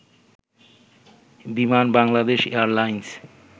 Biman Bangladesh airlines